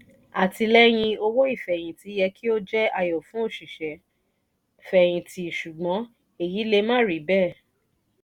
àtìlẹ́yìn owó ìfẹ̀yìntì yẹ kí ó jẹ́ ayọ̀ fún òṣìṣẹ́-fẹ̀yìntì ṣùgbọ́n èyí le má rí bẹ́ẹ̀.